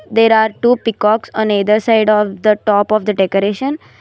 There are two peacocks on either side of the top of the decoration.